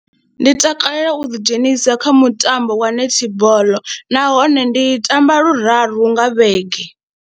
Ndi takalela u ḓidzhenisa kha mutambo wa netball nahone ndi tamba luraru nga vhege.